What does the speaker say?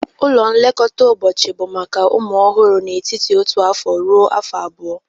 Ụlọ nlekọta ụbọchị bụ maka ụmụ ọhụrụ n'etiti otu afọ ruo afọ abụọ